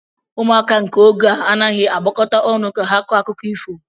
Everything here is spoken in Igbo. Ụmụaka nke ógè a anaghịzi agbakọta ọnụ ka ha kọọ akụkọ ifo